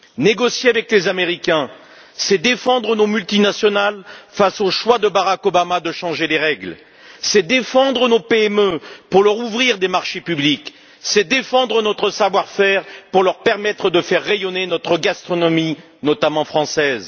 Négocier avec les Américains, c'est défendre nos multinationales face au choix de Barack Obama de changer des règles, c'est défendre nos PME pour leur ouvrir des marchés publics, c'est défendre notre savoir faire pour permettre aux entreprises de faire rayonner notre gastronomie, notamment française.